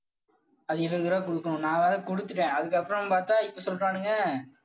அது இருபது ரூபாய் கொடுக்கணும். நான் வேற கொடுத்துட்டேன். அதுக்கப்புறம் பார்த்தா இப்ப சொல்றானுங்க.